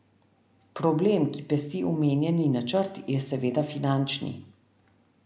Problem, ki pesti omenjeni načrt je seveda finančni.